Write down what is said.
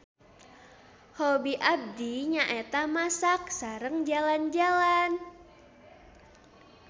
Hobi abdi nyaeta masak sareng jalan-jalan.